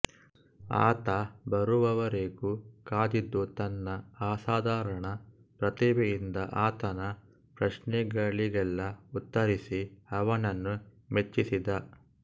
ಆತ ಬರುವವರೆಗೂ ಕಾದಿದ್ದು ತನ್ನ ಅಸಾಧಾರಣ ಪ್ರತಿಭೆಯಿಂದ ಆತನ ಪ್ರಶ್ನೆಗಳಿಗೆಲ್ಲ ಉತ್ತರಿಸಿ ಅವನನ್ನು ಮೆಚ್ಚಿಸಿದ